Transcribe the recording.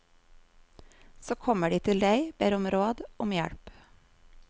Så kommer de til deg, ber om råd, om hjelp.